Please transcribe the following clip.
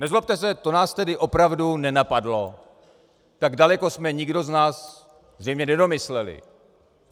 Nezlobte se, to nás tedy opravdu nenapadlo, tak daleko jsme nikdo z nás zřejmě nedomysleli.